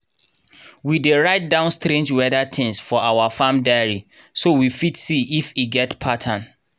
we dey write down strange weather things for our farm diary so we fit see if e get pattern.